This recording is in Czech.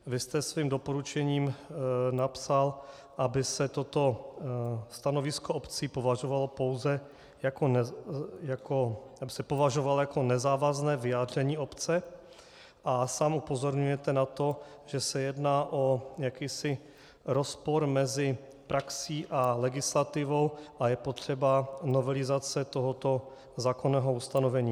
Vy jste svým doporučením napsal, aby se toto stanovisko obcí považovalo pouze za nezávazné vyjádření obce, a sám upozorňujete na to, že se jedná o jakýsi rozpor mezi praxí a legislativou a je potřebná novelizace tohoto zákonného ustanovení.